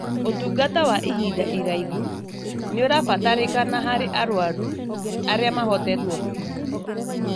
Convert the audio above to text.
ũtungata wa ihinda iraihu nĩũrabatarĩkana harĩ arwaru arĩa mahotetwo biũ